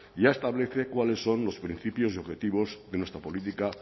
ya establece cuáles son los principios y objetivos de nuestra política